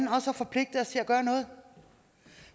har forpligtet os til at gøre noget